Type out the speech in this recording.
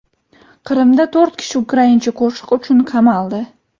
Qrimda to‘rt kishi ukraincha qo‘shiq uchun qamaldi.